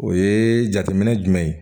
O ye jateminɛ jumɛn ye